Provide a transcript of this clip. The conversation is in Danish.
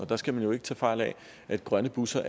der skal man jo ikke tage fejl af at grønne busser